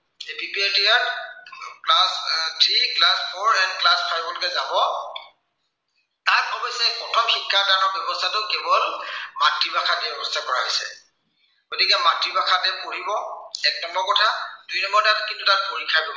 আহ class three, class four, class five লৈকে যাব। তাত অৱশ্যে প্ৰথম শিক্ষা দানৰ ব্য়ৱস্থাটো কেৱল মাতৃভাষাতহে ব্য়ৱস্থা কৰা হৈছে। গতিকে মাতৃভাষাতহে পঢ়িব, এক নম্বৰ কথা, দুই নম্বৰ কিন্তু তাত পৰীক্ষা